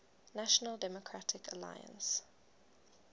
national democratic alliance